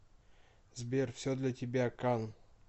сбер все для тебя кан